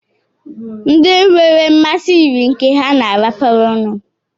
ndị nwere mmasị yiri nke ha na-arapara ọnụ